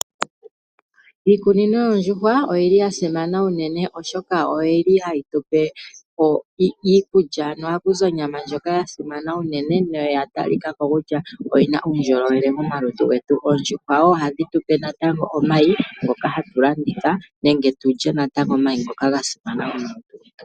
Iikunino yoondjuhwa oyili yasimana uunene oshoka oyili hayitupe iikulya, ano ohakuzi onyama ndjoka yasimana uunene na oya talikako kutya oyina uundjolowele momalutu getu. Oondjuhwa wo ohadhi tupe natango omayi ngoka hatulanditha nenge tulye natango omayi ngoka gasimana momalutu getu.